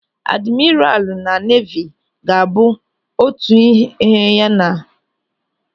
Adimiralu na neevi ga-abụ otu ihe ya na jeenaralu na soja.